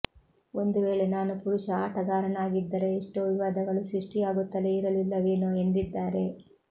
ಒಂದು ವೇಳೆ ನಾನು ಪುರುಷ ಆಟಗಾರನಾಗಿದ್ದರೆ ಎಷ್ಟೋ ವಿವಾದಗಳು ಸೃಷ್ಟಿಯಾಗುತ್ತಲೇ ಇರಲಿಲ್ಲವೇನೋ ಎಂದಿದ್ದಾರೆ